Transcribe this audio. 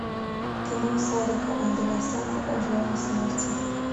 кино сарика андреасяна жажда смерти